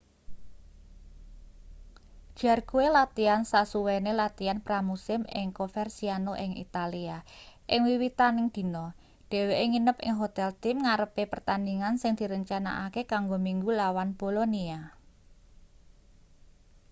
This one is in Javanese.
jarque latihan sasuwene latihan pra-musim ing coverciano ing italia ing wiwitaning dina dheweke nginep ing hotel tim ngarepe pertandhingan sing direncanakake kanggo minggu lawan bolonia